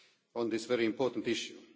on this very important issue.